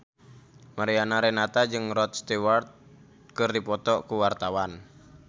Mariana Renata jeung Rod Stewart keur dipoto ku wartawan